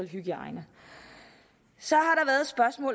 hygiejne så